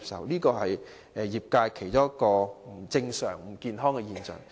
這是業界其中一個不正常、不健康的現象。